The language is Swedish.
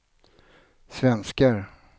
svenskar